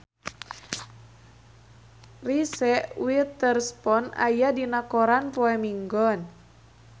Reese Witherspoon aya dina koran poe Minggon